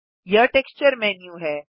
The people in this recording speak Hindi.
यह टेक्सचर मेन्यू है